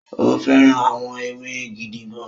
O fẹ́ràn àwọ̀ ewé gidigan